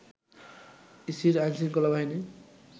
ইসির আইনশৃঙ্খলা বাহিনী